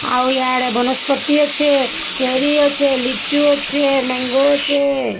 ଆଉ ଇଆଡ଼େ ବନସ୍ପତି ଅଛି ଚେରି ଅଛି ଲିଚୁ ଅଛି ମ୍ୟାଙ୍ଗୋ ଅଛି।